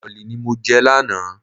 Bọ̀lì ni mo jẹ lánàá.